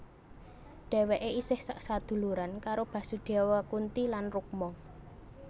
Dhèwèké isih sak saduluran karo Basudewa Kunti lan Rukma